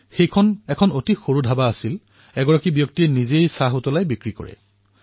সেইখন এখন সৰু ধাবা আছিল তাত এজন ব্যক্তিয়েই নিজেই চাহ বনাই নিজেই বিক্ৰী কৰিছিল